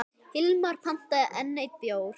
Hilmar pantaði enn einn bjór.